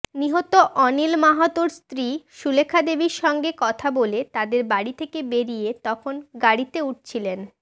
নিহত অনিল মাহাতোর স্ত্রী সুলেখাদেবীর সঙ্গে কথা বলে তাঁদের বাড়ি থেকে বেরিয়ে তখন গাড়িতে উঠছিলেন